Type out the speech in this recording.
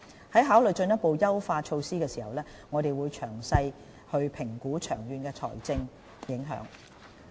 在考慮進一步的優化措施時，我們須詳細評估長遠的財政影響。